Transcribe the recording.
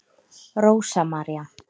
Rósa María.